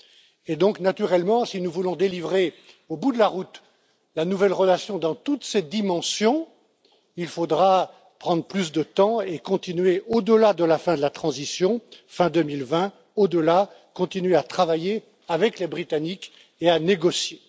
all. Alors, naturellement, si nous voulons parvenir, au bout de la route, à une nouvelle relation dans toutes ses dimensions, il faudra prendre plus de temps et continuer au delà de la fin de la transition, fin 2020, à travailler avec les Britanniques et à négocier.